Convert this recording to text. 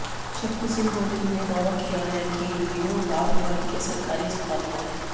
शक्तिसिंह गोहिल ने दावा किया है कि वीडियो भावनगर के सरकारी अस्पताल का है